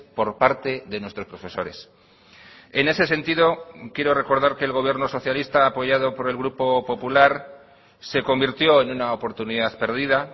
por parte de nuestros profesores en ese sentido quiero recordar que el gobierno socialista apoyado por el grupo popular se convirtió en una oportunidad perdida